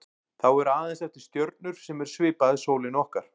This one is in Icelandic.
Þá eru aðeins eftir stjörnur sem eru svipaðar sólinni okkar.